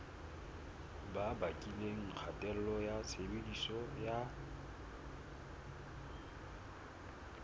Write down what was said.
bakileng kgatello ya tshebediso ya